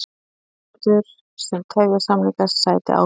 Vinnuveitendur sem tefja samninga sæti ábyrgð